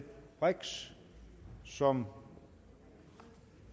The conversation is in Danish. brix som